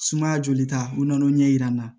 Sumaya joli ta u nan'o ɲɛ yira n na